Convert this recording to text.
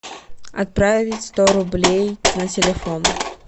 отправить сто рублей на телефон